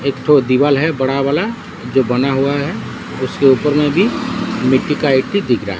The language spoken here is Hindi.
एक ठो दिवाल है बड़ा वाला जो बना हुआ है उसके ऊपर में भी मिट्टी का ईटी दिख रहा है।